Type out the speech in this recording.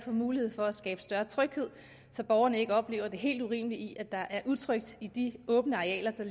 mulighed for at skabe større tryghed så borgerne ikke oplever det helt urimelige i at der er utrygt i de åbne arealer der